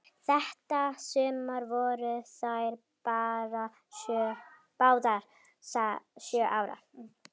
Þetta sumar voru þær báðar sjö ára.